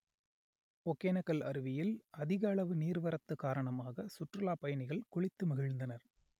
ஒகேனக்கல் அருவியில் அதிக அளவு நீர்வரத்து காரணமாக சுற்றுலாப் பயணிகள் குளித்து மகிழ்ந்தனர்